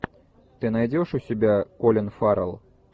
ты найдешь у себя колин фаррелл